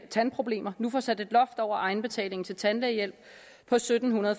tandproblemer nu får sat et loft over egenbetalingen til tandlægehjælp på sytten